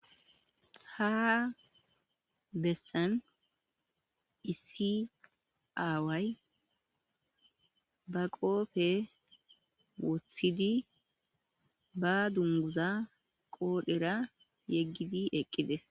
Ha bessan isiaway ba qoofe wothidi ba dunguza qoodhera yeggidi eqqides.